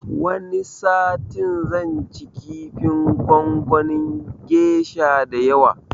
Wani satin zan ci kifin gongonin gesha da yawa